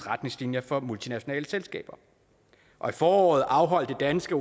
retningslinjer for multinationale selskaber og i foråret afholdt det danske